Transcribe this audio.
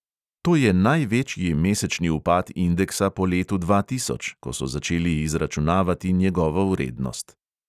To je največji mesečni upad indeksa po letu dva tisoč, ko so začeli izračunavati njegovo vrednost.